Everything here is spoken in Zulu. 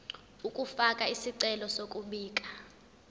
ukufaka isicelo sokubika